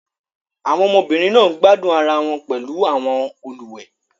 Àwọn ọmọbìnrin náà ń gbádùn ara wọn pẹ̀lú àwọn olùwẹ̀